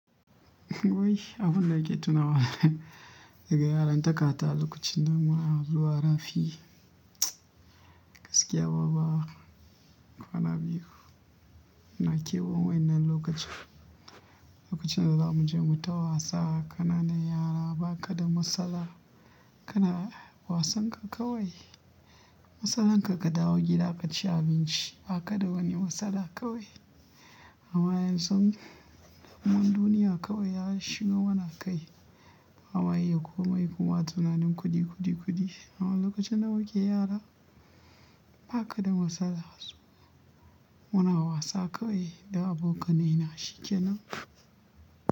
Wai abun da ke tuna wa daga yaran takata lokacin da muna zuwa rafi, gaskiya baba kwana biyu na kewan wannan lokacin. Lokacin da za mu je mu ta wasa, ƙananan yara ba ka da matsala. Kana wasan ka kawai, matsalarka ka dawo gida ka ci abinci ba ka da wani matsala kawai. Amma yanzu mun duniya kawai ya shigo mana kai, bama iya komai koma tunanin kuɗi, kuɗi, kuɗi. Amma lokacin da muke yara ba ka da matsala. Muna wasa kawai da abokanai na shikenan.